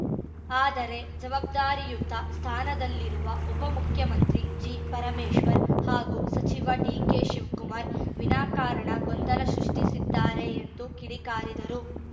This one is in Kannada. ಆದರೆ ಜವಾಬ್ದಾರಿಯುತ ಸ್ಥಾನದಲ್ಲಿರುವ ಉಪಮುಖ್ಯಮಂತ್ರಿ ಜಿ ಪರಮೇಶ್ವರ್‌ ಹಾಗೂ ಸಚಿವ ಡಿಕೆ ಶಿವಕುಮಾರ್‌ ವಿನಾಕಾರಣ ಗೊಂದಲ ಸೃಷ್ಟಿಸಿದ್ದಾರೆ ಎಂದು ಕಿಡಿಕಾರಿದರು